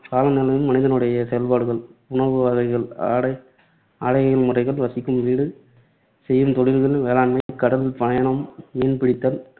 காலநிலையும் மனிதனுடைய செயல்பாடுகள், உணவு வகைகள், ஆடை ஆடை முறைகள், வசிக்கும் வீடு, செய்யும் தொழில்கள், வேளாண்மை, கடல் பயணம், மீன் பிடித்தல்,